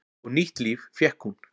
Og nýtt líf fékk hún.